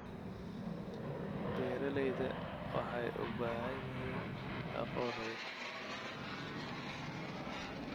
Beeralayda waxay u baahan yihiin aqoon weyn.